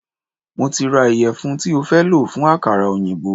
Mo ti ra ìyẹ̀fun tí o fẹ́ lò fún àkàrà oyinbo.